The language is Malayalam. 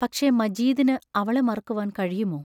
പക്ഷേ, മജീദിന് അവളെ മറക്കുവാൻ കഴിയുമോ?